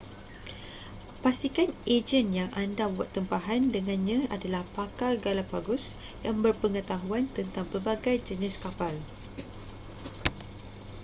pastikan ejen yang anda buat tempahan dengannya adalah pakar galapagos yang berpengetahuan tentang pelbagai jenis kapal